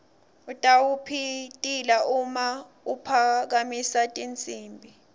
utawupitila uma aphakamisa tinsimbi